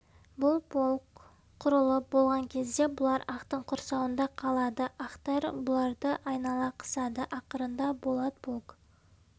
бұл полк құрылып болған кезде бұлар ақтың құрсауында қалады ақтар бұларды айнала қысады ақырында болат полк